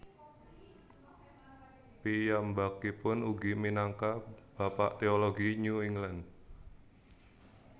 Piyambakipun ugi minangka bapak teologi New England